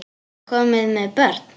Eða komin með börn?